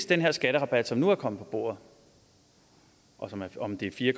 den her skatterabat som nu er kommet på bordet om det er fire